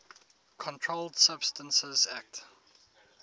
controlled substances acte